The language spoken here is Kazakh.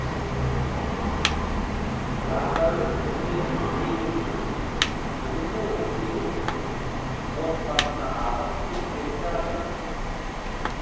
бақдәулет үсенов демеуші бүгінде он сегіз отбасына азық түлік беріп жатырмыз